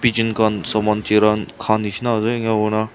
jira han kha nishina ase enakurna--